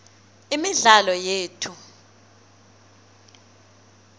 imidlalo yethu